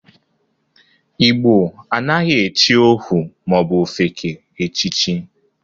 Igbo anaghị echi ohu ma ọ bụ ofeke echichi.